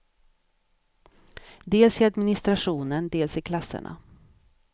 Dels i administrationen, dels i klasserna.